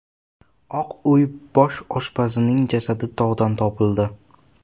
Oq uy bosh oshpazining jasadi tog‘dan topildi.